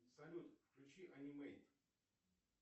салют включи анимейт